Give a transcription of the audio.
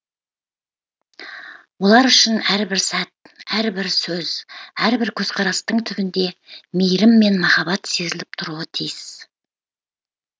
олар үшін әрбір сәт әрбір сөз әрбір көзқарастың түбінде мейірім мен махаббат сезіліп тұруы тиіс